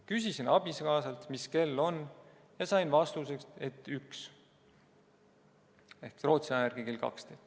Küsisin abikaasalt, mis kell on, ja sain vastuseks, et üks .